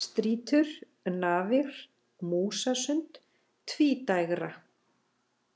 Strýtur, Nafir, Músasund, Tvídægra